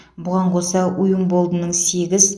бұған қоса уимболдының сегіз